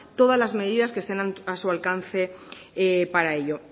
las medidas que estén a su alcance para ello